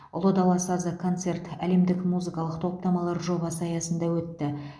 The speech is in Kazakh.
ұлы дала сазы концерті әлемдік музыкалық топтамалар жобасы аясында өтті